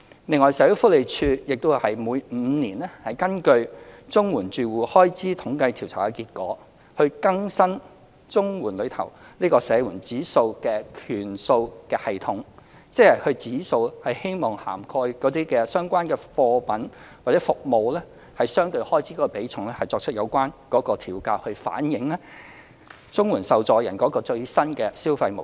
此外，社會福利署亦會每5年根據綜援住戶開支統計調查的結果，更新綜援中社援指數的權數系統，即指數涵蓋的相關貨品或服務的相對開支比重，作出有關調整，以反映綜援受助人的最新消費模式。